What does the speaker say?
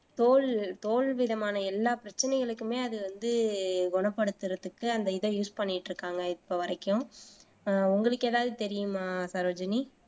தோல் தோல் விதமான எல்லா பிரச்சனைகளுக்குமே அது வந்து குணப்படுத்துறதுக்கு அந்த இத யூஸ் பண்ணிட்டு இருக்காங்க இப்ப வரைக்கும் ஆஹ் உங்களுக்கு ஏதாவது தெரியுமா சரோஜினி